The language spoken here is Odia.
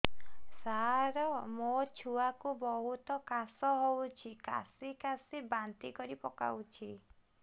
ସାର ମୋ ଛୁଆ କୁ ବହୁତ କାଶ ହଉଛି କାସି କାସି ବାନ୍ତି କରି ପକାଉଛି